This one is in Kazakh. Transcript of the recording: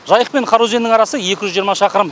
жайық пен қараөзеннің арасы екі жүз жиырма шақырым